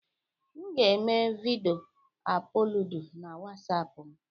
M ga-eme vidiyo ọplọdụ na wasapụ m.